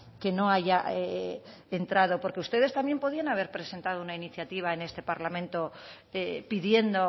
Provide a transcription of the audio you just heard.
que no haya entrado porque ustedes también podrían haber presentado una iniciativa en este parlamento pidiendo